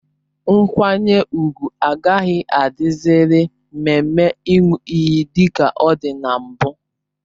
Nkwanye ùgwù agaghị adị ziri mmemme Ịṅụ iyi dika ọ dị na mbụ